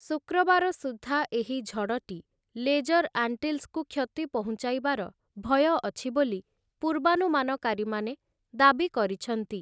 ଶୁକ୍ରବାର ସୁଦ୍ଧା ଏହି ଝଡ଼ଟି ଲେଜର୍‌ ଆଣ୍ଟିଲ୍‌ସ୍‌କୁ କ୍ଷତି ପହୁଞ୍ଚାଇବାର ଭୟ ଅଛି ବୋଲି ପୂର୍ବାନୁମାନକାରୀମାନେ ଦାବି କରିଛନ୍ତି ।